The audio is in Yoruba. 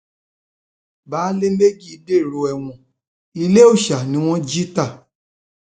baálé méjì dèrò ẹwọn ilé òòsa ni wọn jí ta